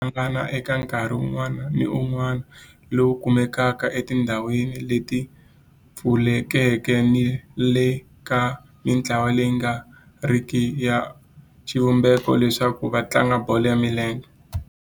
Vafana va le Orlando a va hlangana eka nkarhi wun'wana ni wun'wana lowu kumekaka etindhawini leti pfulekeke ni le ka mintlawa leyi nga riki ya xivumbeko leswaku va tlanga bolo ya milenge.